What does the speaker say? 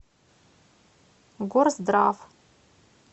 горздрав